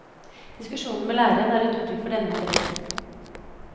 Diskusjoner med læreren er et uttrykk for denne interessen.